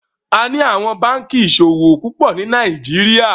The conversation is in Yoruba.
A ní àwon bánkì iṣowo púpọ ní Nàìjíríà.